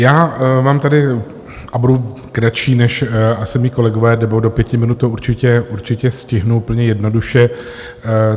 Já mám tady, a budu kratší než asi mí kolegové, nebo do pěti minut to určitě stihnu, úplně jednoduše.